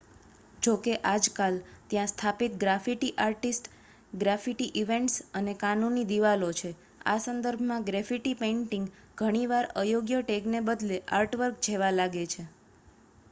"જોકે આજકાલ ત્યાં સ્થાપિત ગ્રાફિટી આર્ટિસ્ટ ગ્રાફિટી ઇવેન્ટ્સ અને "કાનૂની" દીવાલો છે. આ સંદર્ભમાં ગ્રેફિટી પેઇન્ટિંગ ઘણી વાર અયોગ્ય ટેગને બદલે આર્ટવર્ક જેવા લાગે છે.